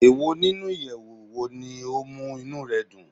Eyi ninu iyẹwu wo ni o mu inú rẹ dun?